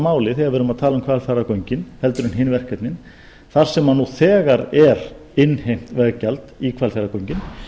máli þegar við erum að tala um hvalfjarðargöngin en hin verkefnin þar sem nú þegar er innheimt veggjald í hvalfjarðargöngin